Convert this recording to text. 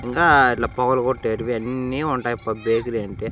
ఇంకా ఇట్లా పొగలు గొట్టేటివి అన్నీ ఉంటయప్ప బేకరి అంటే.